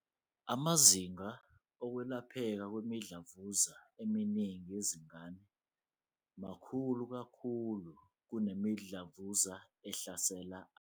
"Amazinga okwelapheka kwemidlavuza eminingi yezingane makhulu kakhulu kunemidlavuza ehlasela abantu abadala."